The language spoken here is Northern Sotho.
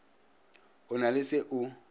o na le se o